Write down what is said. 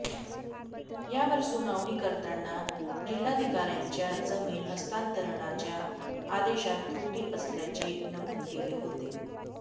यावर सुनावणी करताना जिल्हाधिकाऱ्यांच्या जमीन हस्तांतरणाच्या आदेशात त्रुटी असल्याचे नमूद केले होते